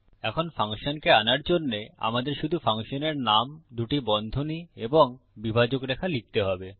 এখন ফাংশনকে আনার জন্যে আমাদের শুধু ফাংশনের নাম দুটি বন্ধনী এবং বিভাজক রেখা লিখতে হবে